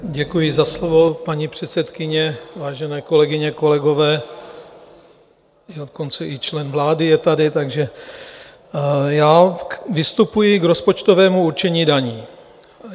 Děkuji za slovo, paní předsedkyně, vážené kolegyně, kolegové, dokonce i člen vlády je tady, takže já vystupuji k rozpočtovému určení daní.